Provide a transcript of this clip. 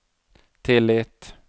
tillit